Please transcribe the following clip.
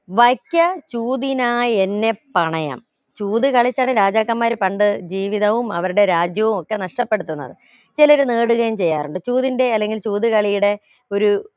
വക്യ ചൂതിനായി എന്നെ പണയാം ചൂത് കളിച്ചാണ് രാജാക്കന്മാർ പണ്ട് ജീവിതവും അവരുടെ രാജ്യവും ഒക്കെ നഷ്ടപ്പെടുത്തുന്നത് ചിലർ നേടുകയും ചെയ്യാറുണ്ട് ചൂതിന്റെ അല്ലെങ്കിൽ ചൂത് കളിയുടെ ഒരു